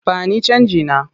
Ba ni canjina!